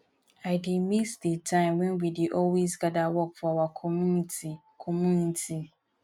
i dey miss the time wen we dey always gather work for our community community